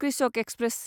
कृषक एक्सप्रेस